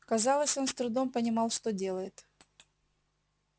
казалось он с трудом понимал что делает